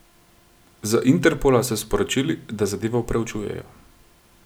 Z Interpola so sporočili, da zadevo proučujejo.